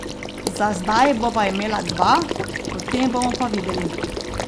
Za zdaj bova imela dva, potem bomo pa videli.